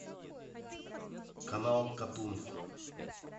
канал катун